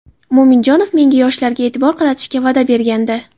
Mo‘minjonov menga yoshlarga e’tibor qaratishga va’da bergandi.